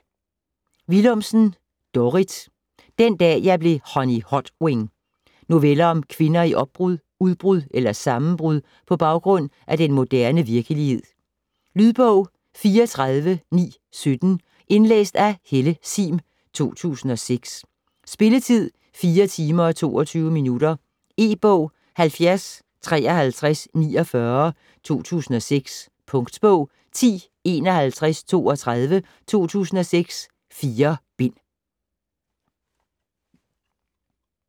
Willumsen, Dorrit: Den dag jeg blev Honey Hotwing Noveller om kvinder i opbrud, udbrud eller sammenbrud på baggrund af den moderne virkelighed. Lydbog 34917 Indlæst af Helle Sihm, 2006. Spilletid: 4 timer, 22 minutter. E-bog 705349 2006. Punktbog 105132 2006. 4 bind.